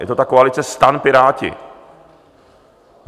Je to ta koalice STAN-Piráti.